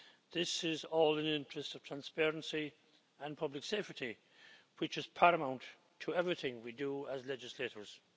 This is all in the interest of transparency and public safety, which is paramount in everything we do as legislators.